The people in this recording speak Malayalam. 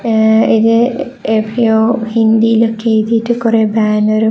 ഏ ഇത് ഹിന്ദിലൊക്കെ എയുതിട്ട് കൊറെ ബാന്നെറും --